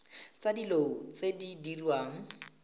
tsa dilo tse di diriwang